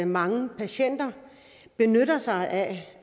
mange patienter benytter sig af